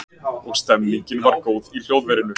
Og stemningin var góð í hljóðverinu